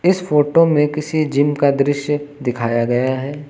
इस फोटो में किसी जिम का दृश्य दिखाया गया है।